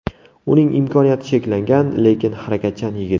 Uning imkoniyati cheklangan, lekin harakatchan yigit.